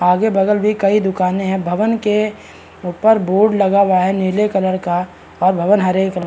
आगल-बगल भी कई दुकानें हैं। भवन के ऊपर बोर्ड लगा हुआ है नीले कलर का और भवन हरे कलर --